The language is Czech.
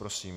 Prosím.